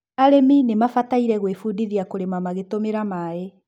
arĩmi nimabataire gũĩbudithia kũrĩma magĩtũmĩra maaĩ